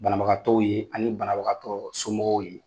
Banabagatɔw ye ani banabagatɔ somɔgɔw ye.